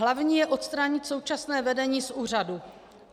Hlavní je odstranit současné vedení z úřadu.